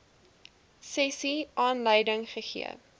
sessie aanleiding gegee